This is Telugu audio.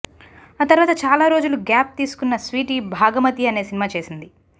ఆ తర్వాత చాలా రోజులు గ్యాప్ తీసుకున్న స్వీటీ భాగమతి అనే సినిమా చేసింది